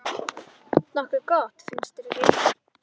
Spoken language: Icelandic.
Nokkuð gott, finnst þér ekki?